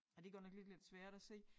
Ej det godt nok lidt lidt svært at se